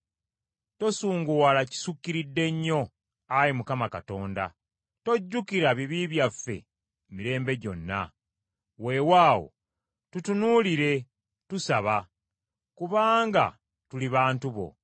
Tosunguwala kisukkiridde nnyo, Ayi Mukama Katonda, tojjukira bibi byaffe mirembe gyonna. Weewaawo, tutunuulire, tusaba, kubanga tuli bantu bo.